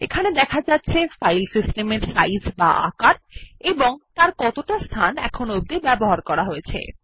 এখানে দেখা যাচ্ছে ফাইল সিস্টেমের সাইজ এবং কতটা স্থান ব্যবহার করা হয়েছে